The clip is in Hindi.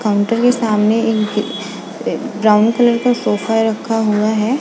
काउन्टर के सामने एक ब्राउन कलर का सोफ़ा रखा हुआ है।